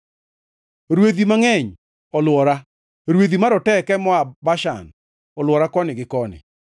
Rwedhi mangʼeny olwora; rwedhi maroteke moa Bashan olwora koni gi koni.